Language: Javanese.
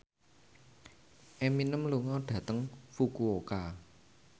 Eminem lunga dhateng Fukuoka